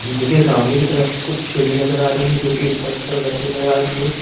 मुझे सामने की तरफ कुछ सीढ़ी जर आ रही है जो कि ऊपर की तरफ जाती हुई नज़र आ रही है।